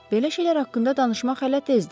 Belə şeylər haqqında danışmaq hələ tezdir.